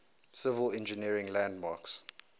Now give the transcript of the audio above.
civil engineering landmarks